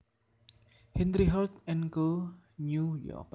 Henry Holt and Co New York